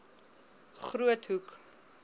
groothoek